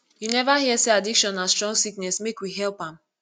you neva hear sey addiction na strong sickness make we help am